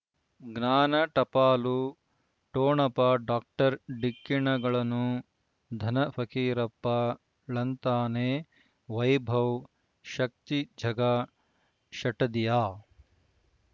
ಜ್ಞಾನ ಟಪಾಲು ಠೊಣಪ ಡಾಕ್ಟರ್ ಢಿಕ್ಕಿ ಣಗಳನು ಧನ ಫಕೀರಪ್ಪ ಳಂತಾನೆ ವೈಭವ್ ಶಕ್ತಿ ಝಗಾ ಷಟ್ಟದಿಯ